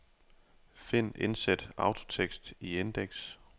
Find indsæt autotekst i indeks.